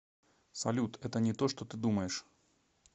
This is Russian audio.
салют это не то что ты думаешь